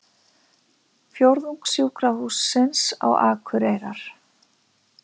Fjórðungssjúkrahússins á Akureyrar.